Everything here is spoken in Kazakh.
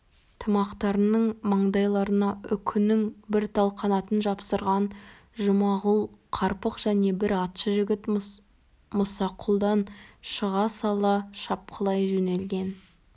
тымақтарының маңдайларына үкінің бір тал қанатын жапсырған жұмағұл қарпық және бір атшы жігіт мұсақұлдан шыға сала шапқылай жөнелген